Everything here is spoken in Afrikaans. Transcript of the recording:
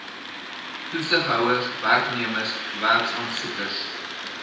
toesighouers werknemers werksaansoekers